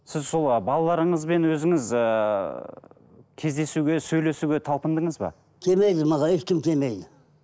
сіз сол балаларыңызбен өзіңіз ыыы кездесуге сөйлесуге талпындыңыз ба келмейді маған ешкім келмейді